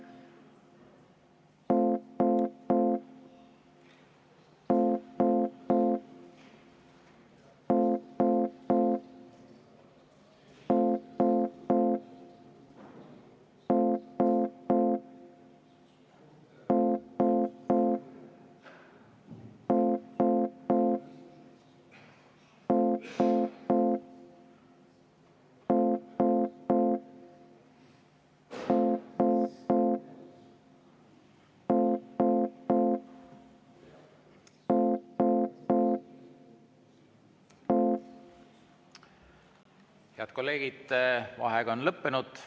Head kolleegid, vaheaeg on lõppenud!